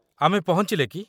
ଆମେ ପହଞ୍ଚିଲେ କି?